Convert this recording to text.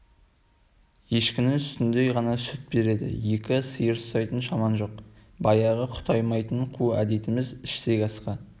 ешкінің сүтіндей ғана сүт береді екі сиыр ұстайтын шамаң жоқ баяғы құтаймайтын қу әдетіміз ішсек асқа